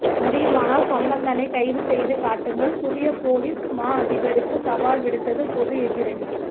முடியுமானால் சம்பந்தனை கைதுசெய்து காட்டுங்கள் புதிய பொலிஸ் மா அதிபருக்கு சவால் விடுத்தது பொது எதிரணி